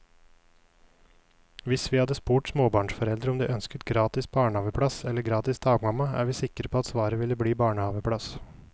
Hvis vi hadde spurt småbarnsforeldre om de ønsker gratis barnehaveplass eller gratis dagmamma, er vi sikre på at svaret ville bli barnehaveplass.